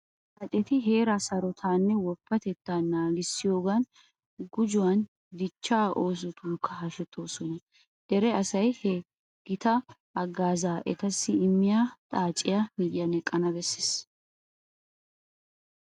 Xaaceti Heeraa sarotettaanne woppatettaa naagissiyogaappe gujuwan dichchaa oosotunkka hashetoosona. Dere asay ha gita haggaazaa etassi immiya xaaciya miyyiyan eqqana bessees.